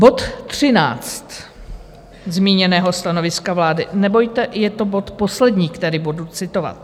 Bod 13 zmíněného stanoviska vlády - nebojte, je to bod poslední, který budu citovat.